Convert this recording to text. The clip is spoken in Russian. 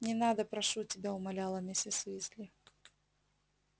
не надо прошу тебя умоляла миссис уизли